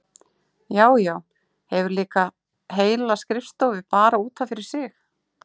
Já, já, hefur líka heila skrifstofu bara út af fyrir sig!